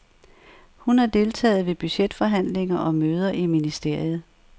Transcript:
Hun har deltaget ved budgetforhandlinger og møder i ministeriet.